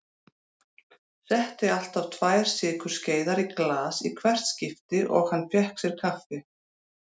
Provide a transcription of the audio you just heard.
Setti alltaf tvær sykurskeiðar í glas í hvert skipti og hann fékk sér kaffi.